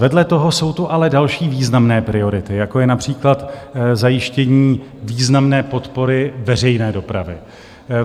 Vedle toho jsou tu ale další významné priority, jako je například zajištění významné podpory veřejné dopravy.